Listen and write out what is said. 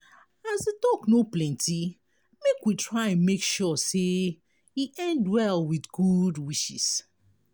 as di talk no plenty make we try make sure say e end well with good wishes